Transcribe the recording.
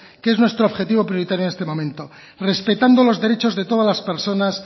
que es nuestro objetivo prioritario en este momento respetando los derechos de todas las personas